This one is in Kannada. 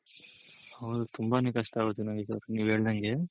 ಹೌದು ತುಂಬಾನೇ ಕಷ್ಟ ಆಗುತ್ತೆ ನನಗ್ ಗೊತ್ತು ನೀವ್ ಹೇಳ್ದಂಗೆ